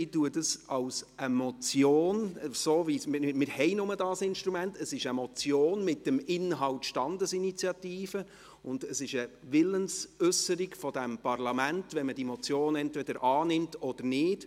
Ich betrachte dies als eine Motion – wir haben nur dieses Instrument –, es ist eine Motion mit dem Inhalt Standesinitiative, und es ist eine Willensäusserung dieses Parlaments, wenn man die Motion entweder annimmt oder nicht.